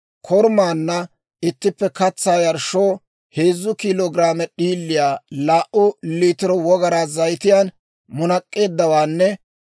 korumaanna ittippe katsaa yarshshoo heezzu kiilo giraame d'iiliyaa laa"u liitiro wogaraa zayitiyaan munak'k'eeddawaanne